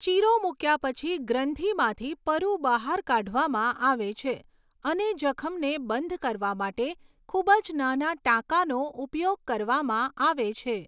ચીરો મુક્યા પછી ગ્રંથિમાંથી પરુ બહાર કાઢવામાં આવે છે અને જખમને બંધ કરવા માટે ખૂબ જ નાના ટાંકાનો ઉપયોગ કરવામાં આવે છે.